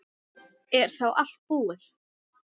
Er þá allt búið?